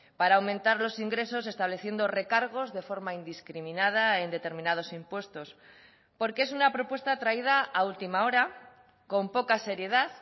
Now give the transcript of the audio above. para aumentar los ingresos estableciendo recargos de forma indiscriminada en determinados impuestos porque es una propuesta traída a última hora con poca seriedad